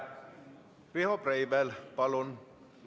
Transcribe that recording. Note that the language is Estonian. Riho Breivel, palun!